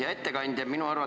Hea ettekandja!